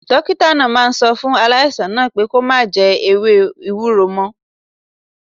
Dókítà náà máa sọ fún aláìsàn náà pé kó má jẹ ewé ewúro mo